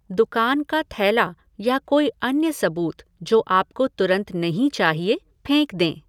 दुकान का थैला या कोई अन्य सबूत जो आपको तुरंत नहीं चाहिए, फेंक दें।